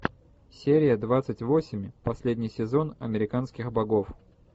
серия двадцать восемь последний сезон американских богов